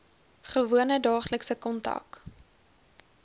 gewone daaglikse kontak